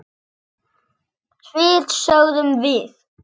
Svið sögðum við.